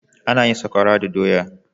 Ana yin Sakwara da doya.